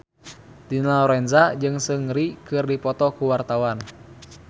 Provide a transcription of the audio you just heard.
Dina Lorenza jeung Seungri keur dipoto ku wartawan